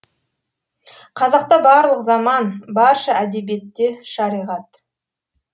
қазақта барлық заман барша әдебиетте шариғат